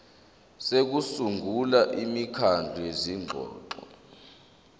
sokusungula imikhandlu yezingxoxo